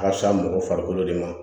A ka fisa mɔgɔ farikolo de ma